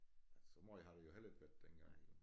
Så måj har det jo heller ikke været dengang jo